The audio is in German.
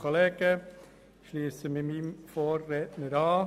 Ich schliesse mich meinem Vorredner an.